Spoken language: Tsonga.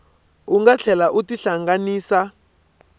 u nga tlhela u tihlanganisa